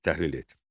Təhlil et.